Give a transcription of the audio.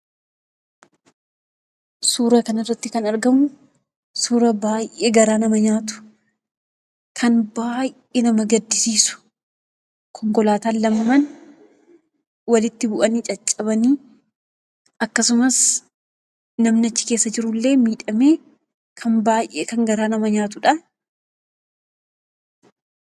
Suura kanarratti kan argamu, suura baay'ee garaa nama nyaatu! Kan baay'ee nama gaddisiisu! Konkolaataan lamaan walitti bu'anii caccabanii akkasumas namni achi keessa jirullee miidhamee kan baay'ee garaa nama nyaatudha!